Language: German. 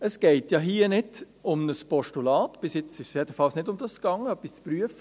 Es geht ja hier nicht um ein Postulat – bis jetzt jedenfalls ging es nicht darum, etwas zu prüfen.